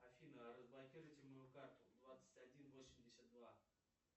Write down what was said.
афина разблокируйте мою карту двадцать один восемьдесят два